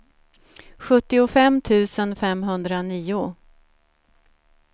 sjuttiofem tusen femhundranio